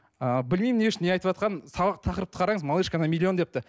ыыы білмеймін не үшін не айтыватқанын тақырыпты қараңыз малышка на миллион депті